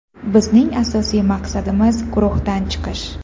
Bizning asosiy maqsadimiz guruhdan chiqish.